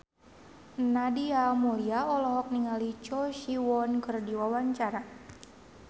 Nadia Mulya olohok ningali Choi Siwon keur diwawancara